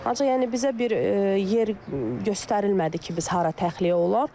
Ancaq yəni bizə bir yer göstərilmədi ki, biz hara təxliyə olar?